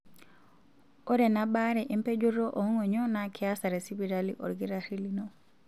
Ore ena baare empejoto oong'onyo naa keasa tesipitali olkitarri lino.